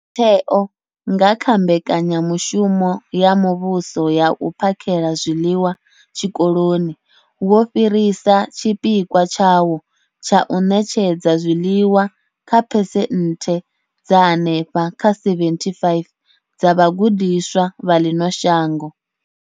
Mutheo, nga kha Mbekanya mushumo ya Muvhuso ya U phakhela zwiḽiwa Zwikoloni, wo fhirisa tshipikwa tshawo tsha u ṋetshedza zwiḽiwa kha phesenthe dza henefha kha 75 dza vhagudiswa vha ḽino shango.